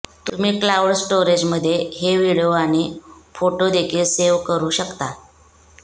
तुम्ही क्लाउड स्टोरेजमध्ये हे व्हिडिओ आणि फोटो देखील सेव्ह करू शकता